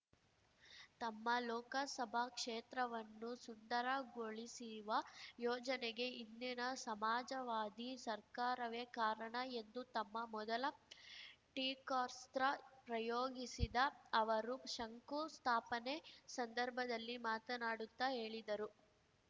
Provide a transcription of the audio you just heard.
ತಮ್ಮ ಲೋಕಸಭಾ ಕ್ಷೇತ್ರವನ್ನು ಸುಂದರ ಗೊಳಿಸುವ ಯೋಜನೆಗೆ ಹಿಂದಿನ ಸಮಾಜವಾದಿ ಸರ್ಕಾರವೇ ಕಾರಣ ಎಂದು ತಮ್ಮ ಮೊದಲ ಟೀಕಾಸ್ತ್ರ ಪ್ರಯೋಗಿಸಿದ ಅವರು ಶಂಕು ಸ್ಥಾಪನೆ ಸಂದರ್ಭದಲ್ಲಿ ಮಾತನಾಡುತ್ತಾ ಹೇಳಿದರು